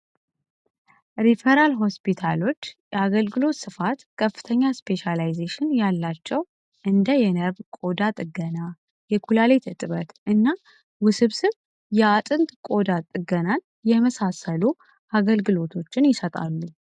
ሪፈራል ሆስፒታሎች የአገልግሎት ስፋት ከፍተኛ ስፔሽላይዚሽን ያላቸው እንደ የነርቭ ቆዳ ጥገና፣ የኩላሊት እጥበት እና ውስብስብ የአጥንት ቆዳት ጥገናን የመሳሰሉ አገልግሎቶችን ይሰጣሉ።